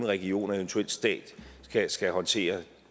region og eventuelt staten skal håndtere